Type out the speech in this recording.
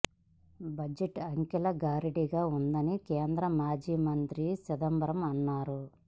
budget అంకెల గారడీగా ఉందని కేంద్ర మాజీ మంత్రి చిదంబరం అన్నారు